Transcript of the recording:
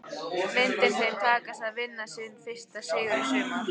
Myndi þeim takast að vinna sinn fyrsta sigur í sumar?